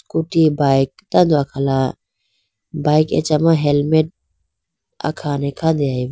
Scooty bike tando akhala bike achama helmet akhane khandeyayibo.